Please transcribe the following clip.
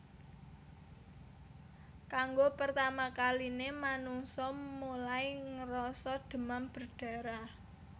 Kanggo pertama kaline manungsa mulai ngrasa demam berdarah